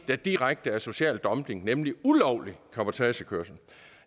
er direkte social dumping nemlig ulovlig cabotagekørsel